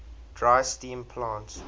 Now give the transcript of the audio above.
dry steam plants